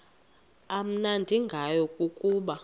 amnandi ngayo kukuba